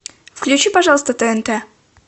включи пожалуйста тнт